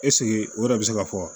o yɛrɛ bi se ka fɔ